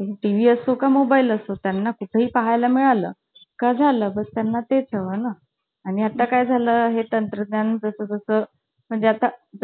आणि तुल~ तुला माहितीये, सुट्टी ची सुट्टी पडली ना कि, भाडं~ मातीची भांडी बनवून आणायला सांगायचे. wow आम्हाला सांगायचे गावाला मातीची भांडी. तुम्हाला जे जे येईल ना मातीची